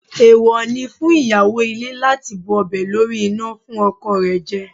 Èèwọ̀ ni fún ìyàwó ilé láti bu ọbẹ̀ lórí iná fún ọkọ rẹ̀ jẹ